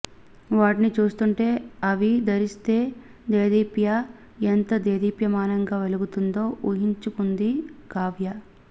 వాటిని చూస్తుంటే అవి ధరిస్తే దేదీప్య ఎంత దేదీప్యమానంగా వెలుగుతుందో వూహించుకొంది కావ్య